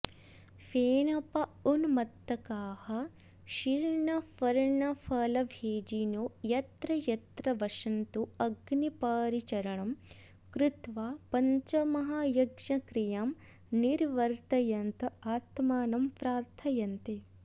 फेनपा उन्मत्तकाः शीर्णपर्णफलभोजिनो यत्र यत्र वसन्तोऽग्निपरिचरणं कृत्वा पञ्चमहायज्ञक्रियां निर्वर्तयन्त आत्मानं प्रार्थयन्ते